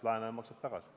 Laenaja maksab tagasi.